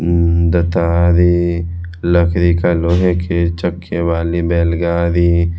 उम्म लकड़ी का लोहे के चक्के वाली बैल गाड़ी--